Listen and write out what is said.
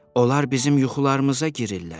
Onlar bizim yuxularımıza girirlər.